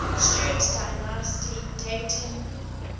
stuart dynasty dating